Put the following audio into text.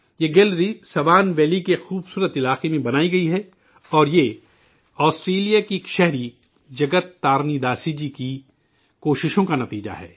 یہ gallery Swan Valley کے ایک خوبصورت علاقے میں بنائی گئی ہے اور یہ آسٹریلیا کی رہنے والے جگت تارینی داسی کی کاوشوں کا نتیجہ ہے